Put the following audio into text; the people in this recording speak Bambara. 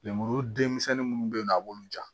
Lemuru den misɛnnin minnu bɛ yen nɔ a b'olu ja